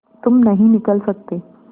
तुम नहीं निकल सकते